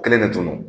Kelen de tun don